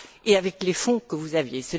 et avec les fonds que vous aviez.